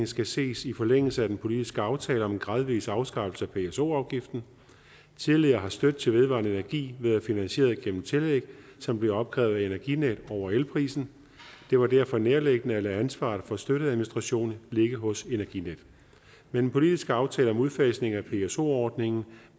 skal ses i forlængelse af den politiske aftale om en gradvis afskaffelse af pso afgiften tidligere har støtte til vedvarende energi været finansieret gennem tillæg som blev opkrævet af energinet over elprisen det var derfor nærliggende at lade ansvaret for støtteadministrationen ligge hos energinet med den politiske aftale om udfasningen af pso ordningen